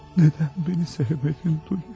Nədən beni sevmedin Dunya?